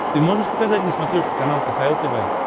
ты можешь показать на смотрешке канал кхл тв